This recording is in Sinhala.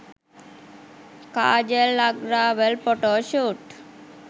kajal agarwal photoshoot